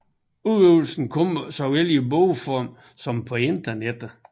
Udgivelserne kommer såvel i bogform som på internettet